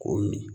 K'o min